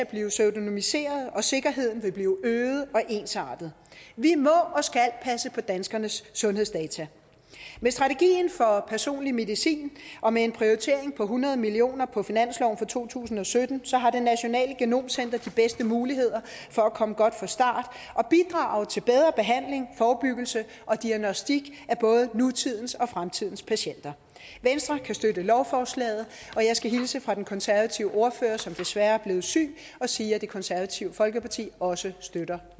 blive pseudonymiseret og sikkerheden vil blive øget og ensartet vi må og skal passe på danskernes sundhedsdata med strategien for personlig medicin og med en prioritering på hundrede million kroner på finansloven for to tusind og sytten har det nationale genom center de bedste muligheder for at komme godt fra start og bidrage til bedre behandling forebyggelse og diagnostik af både nutidens og fremtidens patienter venstre kan støtte lovforslaget og jeg skal hilse fra den konservative ordfører som desværre er blevet syg og sige at det konservative folkeparti også støtter